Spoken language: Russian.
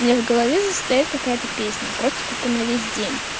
у меня в голове заседает какая то песня просто тупо на весь день